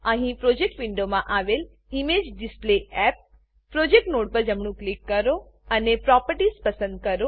અહીં પ્રોજેક્ટ વિન્ડોમાં આવેલ ઇમેજેડિસપ્લેયપ પ્રોજેક્ટ નોડ પર જમણું ક્લિક કરો અને પ્રોપર્ટીઝ પ્રોપર્ટીઝ પસંદ કરો